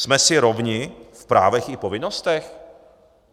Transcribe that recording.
Jsme si rovni v právech i povinnostech?